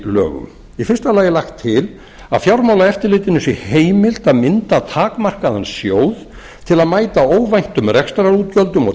lögum í fyrsta lagi er lagt til að fjármálaeftirlitinu sé heimilt að mynda takmarkaðan sjóð til að mæta óvæntum rekstrarútgjöldum og